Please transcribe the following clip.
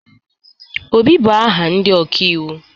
Obi, bụ aha ndị ọkaiwu.